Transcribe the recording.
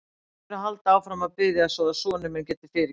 Leyfðu mér að halda áfram að biðja svo að sonur minn geti fyrirgefið mér.